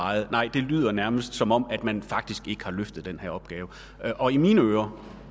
meget nej det lyder nærmest som om man faktisk ikke har løftet den her opgave og i mine ører